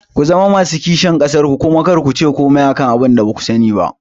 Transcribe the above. Ku zama masu kishin ƙasar ku kuma kar kuce komai akan abinda baku sani ba